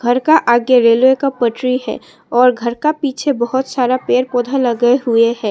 घर का आगे रेलवे का पटरी है और घर के पीछे बहुत सारा पेड़ पौधा लगे हुए है।